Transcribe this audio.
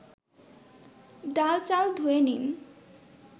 ডাল-চাল ধুয়ে নিন